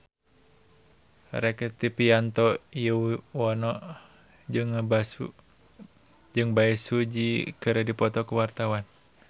Rektivianto Yoewono jeung Bae Su Ji keur dipoto ku wartawan